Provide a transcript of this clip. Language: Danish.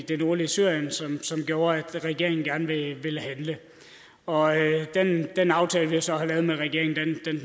det nordlige syrien som gjorde at regeringen gerne ville handle og den aftale vi så har lavet med regeringen